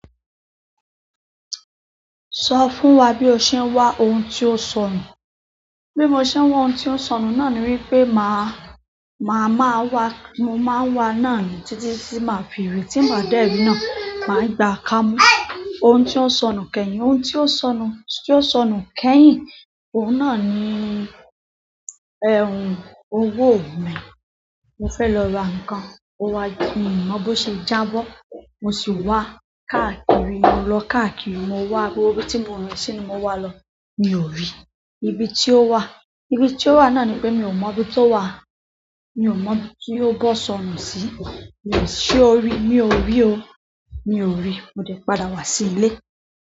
Sọ fún wa bí o ṣe ń wá ohun tí ó sọnù. Bí mo ṣe ń wá ohun tí ó sọnù náà ni wípé má, má má wá, mo má ń wá náà nì títí tí má fi ìrì tí n bá dé ri náà, màá gba kámú. Ohun tí ó sọnù kẹ́yìn, ohun tí ó sọnù, tí ó sọnù kẹ́yìn, òun náà ni, owó mi. Mo fẹ́ lọ ra nǹkan, ó wá, mi ò mọ́ bó ṣe jábọ́. Mo sì wá káàkiri, mo lọ káàkiri, mo wá gbógbo bí tí mo rin si ni mo wá lọ. Mi ò rí. Ibi tí ó wà, ibi tí ó wà náà ni pé mi ò mọ ibi tó wà. Mi ò mọ ibi tí ó bo sọnù sí. Mi ò-- ṣe ó rí? Mi ò rí o. Mi ò rí. Mo dẹ̀ padà wá sí ilé.